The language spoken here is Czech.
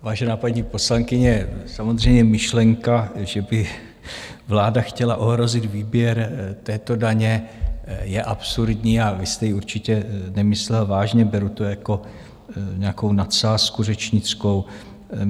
Vážená paní poslankyně, samozřejmě myšlenka, že by vláda chtěla ohrozit výběr této daně, je absurdní a vy jste ji určitě nemyslela vážně, beru to jako nějakou nadsázku řečnickou.